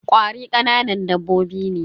Ƙwari kananan dabbobi ne.